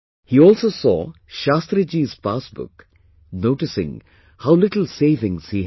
He also saw Shastri ji's passbook noticing how little savings he had